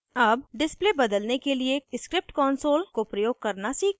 अब display बदलने के लिए script console को प्रयोग करना सीखते हैं